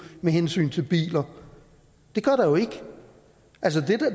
med hensyn til biler det gør der jo ikke